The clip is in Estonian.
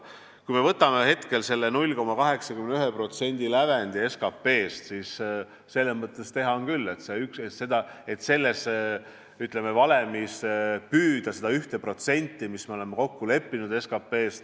Kui me võtame selle 0,81% lävendi SKP-st, siis selles mõttes on teha küll, et selles valemis püüda saavutada seda 1% SKP-st, milles me oleme kokku leppinud.